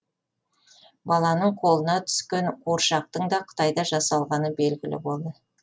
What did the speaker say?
баланың қолына түскен қуыршақтың да қытайда жасалғаны белгілі болды